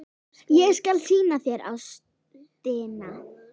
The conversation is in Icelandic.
Ég skal sýna þér Ástina.